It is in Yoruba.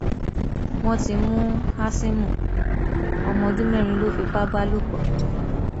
wọn ti mú hásímù ọmọ ọdún mẹrin lọ fipá bá lò pọ